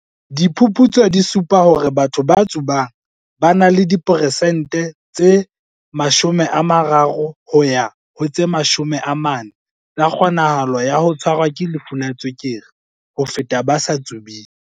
"Diphuputso di supa hore batho ba tsubang ba na le di peresente tse 30 ho ya ho 40 tsa kgonahalo ya ho tshwarwa ke lefu la tswekere ho feta ba sa tsubeng."